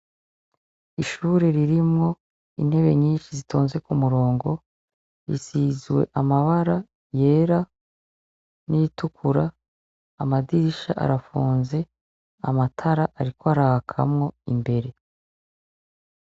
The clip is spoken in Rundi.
Ishuri ririmwo intebe nyinshi zitonze ku murongo risizwe amabara yera n'iritukura amadirisha arafunze, amatara ariko arakamwo imbere.